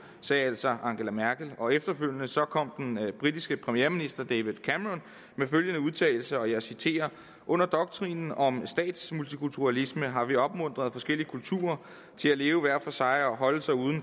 sagde altså angela merkel og efterfølgende kom den britiske premierminister david cameron med følgende udtalelse og jeg citerer under doktrinen om stats multikulturalisme har vi opmuntret forskellige kulturer til at leve hver for sig og holde sig ude